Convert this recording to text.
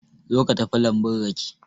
Zo ka tafi lambun rake.